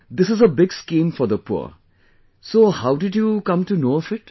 This is a big scheme for the poor, so how did you come to know of it